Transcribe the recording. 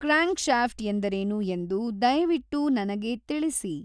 crankshaft ಎಂದರೇನು ಎಂದು ದಯವಿಟ್ಟು ನನಗೆ ತಿಳಿಸಿ